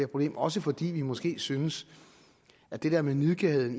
problem også fordi vi måske synes at det der med nidkærheden